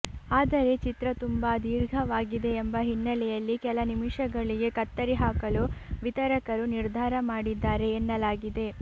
ಆದರೆ ಚಿತ್ರ ತುಂಬಾ ದೀರ್ಘವಾಗಿದೆ ಎಂಬ ಹಿನ್ನಲೆಯಲ್ಲಿ ಕೆಲ ನಿಮಿಷಗಳಿಗೆ ಕತ್ತರಿ ಹಾಕಲು ವಿತರಕರು ನಿರ್ಧಾರ ಮಾಡಿದ್ದಾರೆ ಎನ್ನಲಾಗಿದೆ